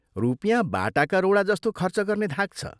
रुपियाँ बाटाका रोडा जस्तो खर्च गर्ने धाक छ।